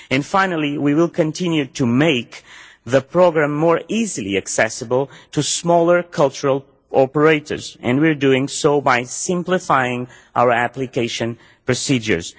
Finally, we will continue to make the programme more easily accessible to smaller cultural operators and we are doing so by simplifying our application procedures.